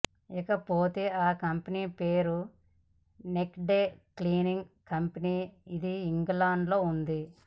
ఇకపోతే ఆ కంపెనీ పేరు నేక్డ్ క్లీనింగ్ కంపెనీ ఇది ఇంగ్లాండ్ లో ఉంది